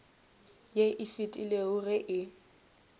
ye e fetilego ge e